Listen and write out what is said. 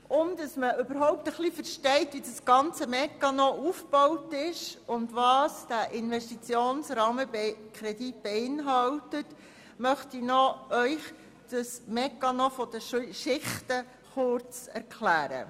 Damit man überhaupt versteht, wie der ganze Mechanismus aufgebaut ist und was der Investitionsrahmenkredit beinhaltet, möchte ich Ihnen kurz das Schichtenmodell erklären.